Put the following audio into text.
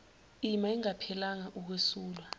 ima ingaphelelanga ukwesula